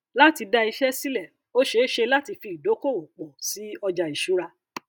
láti dá iṣẹ sílẹ ó ṣeé ṣe láti fi ìdókóòwò pọ sí ọjà ìṣura